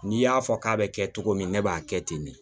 N'i y'a fɔ k'a be kɛ cogo min ne b'a kɛ ten de